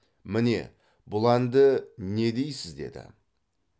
міне бұл әнді не дейсіз деді